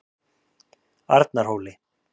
Arnarhóli